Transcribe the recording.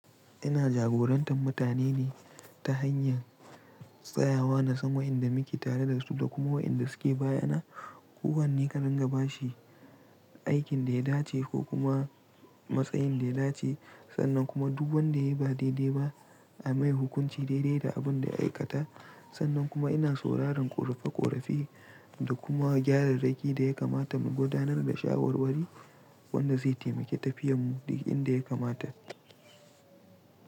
Ina jagorantar mutane ne ta hanyar tsayawa na sama idan muke tare da su da kuma wa inda suke bayyana. Ko wanne ka dinga ba shi aikin da ya dace ko kuma matsayin da ya dace sannan kuma duk wanda ya yi ba daidai ba a mai hukunci daidai da abin da ya aikata. Sannan kuma ina sauraron ƙorafe ƙorafe da kuma gyararaki da ya kamata mu gudanar da shawarwari wanda zai taimake tafiyar mu duk inda ya kamata.